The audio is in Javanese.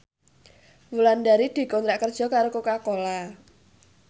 Wulandari dikontrak kerja karo Coca Cola